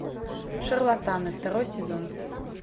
шарлатаны второй сезон